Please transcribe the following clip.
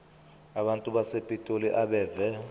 abantu basepitoli abeve